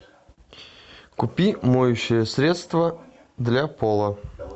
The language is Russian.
купи моющее средство для пола